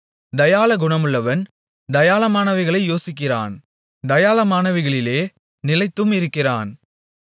தயாளகுணமுள்ளவன் தயாளமானவைகளை யோசிக்கிறான் தயாளமானவைகளிலே நிலைத்தும் இருக்கிறான்